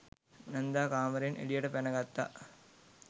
නැන්දා කාමරයෙන් එළියට පැන ගත්තා.